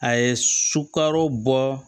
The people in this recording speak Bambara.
A ye sukaro bɔ